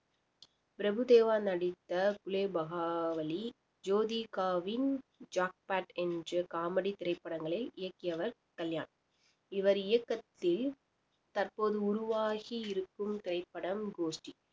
பிரபுதேவா நடித்த குலேபகாவலி ஜோதிகாவின் ஜாக்பாட் என்று காமெடி திரைப்படங்களை இயக்கியவர் கல்யாண் இவர் இயக்கத்தில் தற்போது உருவாகி இருக்கும் திரைப்படம் கோஷ்டி